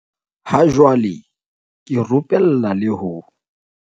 "Ha jwale ke rupella le ho"